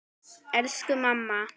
Elsku amma.